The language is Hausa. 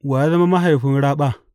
Wa ya zama mahaifin raɓa?